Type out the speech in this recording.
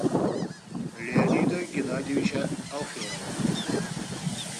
леонида геннадьевича алферова